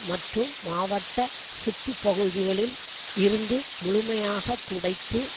மற்றும் மாவட்ட சுற்று பகுதிகளில் இருந்து முழுமையாக துடைத்து